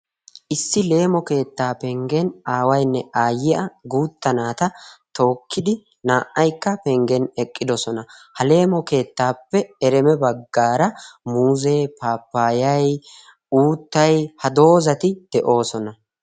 issi leemo keettaa penggen aawainne aayyiya guutta naata tookkidi naa"aykka penggen eqqidosona ha leemo keettaappe ereme baggaara muuzee papayai uuttay ha doozati de'oosona